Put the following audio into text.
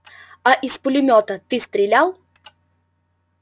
а из пулемёта ты стрелял